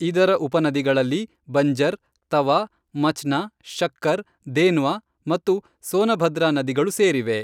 ಇದರ ಉಪನದಿಗಳಲ್ಲಿ ಬಂಜರ್, ತವಾ, ಮಚ್ನಾ, ಶಕ್ಕರ್, ದೇನ್ವಾ ಮತ್ತು ಸೋನಭದ್ರಾ ನದಿಗಳು ಸೇರಿವೆ.